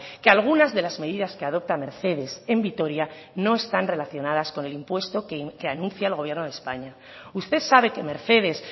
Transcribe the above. que algunas de las medidas que adopta mercedes en vitoria no están relacionadas con el impuesto que anuncia el gobierno de españa usted sabe que mercedes